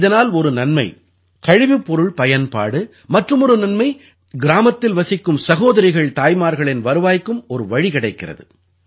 இதனால் ஒரு நன்மை கழிவுப் பொருள் பயன்பாடு மற்றுமொரு நன்மை கிராமத்தில் வசிக்கும் சகோதரிகள்தாய்மார்களின் வருவாய்க்கும் ஒரு வழி கிடைக்கிறது